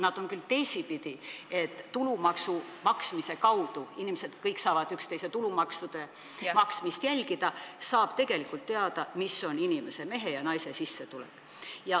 Seda küll teisipidi, tulumaksu maksmise kaudu – kõik inimesed saavad üksteise tulumaksu jälgida – saab tegelikult teada, mis on inimese, mehe või naise sissetulek.